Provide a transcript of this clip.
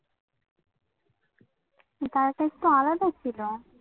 একটু আলাদা করে দাও. হুম